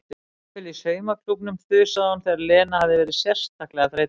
Jafnvel í saumaklúbbnum þusaði hún þegar Lena hafði verið sérstaklega þreytandi.